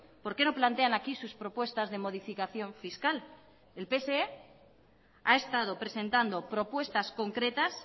por qué no plantean aquí sus propuestas de modificación fiscal el pse ha estado presentando propuestas concretas